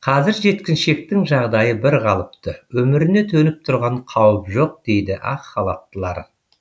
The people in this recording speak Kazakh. қазір жеткіншектің жағдайы бірқалыпты өміріне төніп тұрған қауіп жоқ дейді ақ халаттылар